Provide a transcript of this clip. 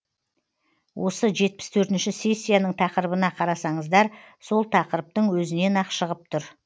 осы жетпіс төртінші сессияның тақырыбына қарасаңыздар сол тақырыптың өзінен ақ шығып тұр